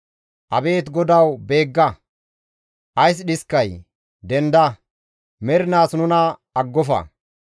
Abeet Godawu beegga! Ays dhiskay? Denda! Mernaas nuna aggofa.